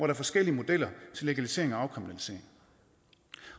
er forskellige modeller til legalisering og afkriminalisering